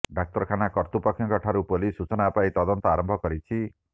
ଡାକ୍ତରଖାନା କତୃପକ୍ଷଙ୍କ ଠାରୁ ପୋଲିସ ସୁଚନା ପାଇ ତଦନ୍ତ ଆରମ୍ଭ କରିଛି